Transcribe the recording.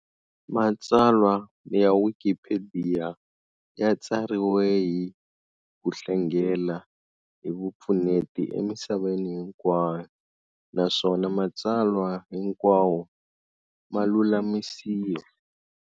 Matsalwa ya Wikipediya ya tsariwe hi ku hlengela hi vupfuneti emisaveni hinkwayo, naswona matsalwa hinkawo ma lulamisiwa